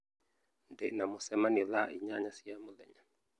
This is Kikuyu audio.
Ndĩ na mũcemanio thaa inyanya cia mũthenya